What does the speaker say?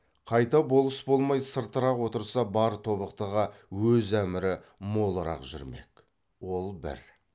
қайта болыс болмай сыртырақ отырса бар тобықтыға өз әмірі молырақ жүрмек ол бір